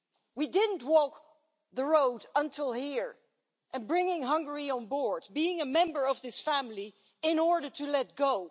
We didn't walk the road to here, and bring Hungary on board as a member of this family, in order to let go.